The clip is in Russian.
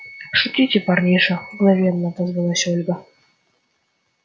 шутите парниша мгновенно отозвалась ольга